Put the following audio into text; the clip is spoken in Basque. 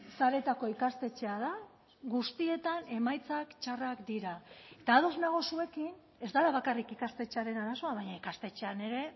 sareetako ikastetxea da guztietan emaitzak txarrak dira eta ados nago zuekin ez dela bakarrik ikastetxearen arazoa baina ikastetxean ere